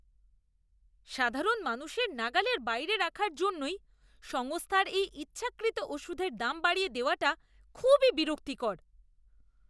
সাধারণ মানুষের নাগালের বাইরে রাখার জন্যই সংস্থার এই ইচ্ছাকৃত ওষুধের দাম বাড়িয়ে দেওয়াটা খুবই বিরক্তিকর।